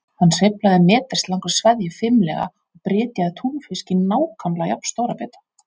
Hann sveiflaði meters langri sveðju fimlega og brytjaði túnfisk í nákvæmlega jafn stóra bita.